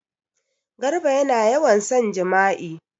Garba yana yawan son jima'i.